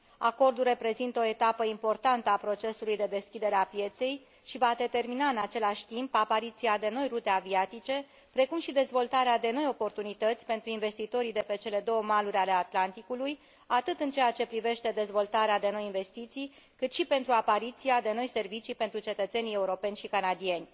Acordul reprezintă o etapă importantă a procesului de deschidere a pieței și va determina, în același timp, apariția de noi rute aviatice precum și dezvoltarea de noi oportunități pentru investitorii de pe cele două maluri ale Atlanticului, atât în ceea ce privește dezvoltarea de noi investiții, cât și pentru apariția de noi servicii pentru cetățenii europeni și canadieni.